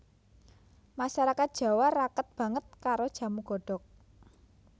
Masarakat Jawa raket banget karo jamu godhog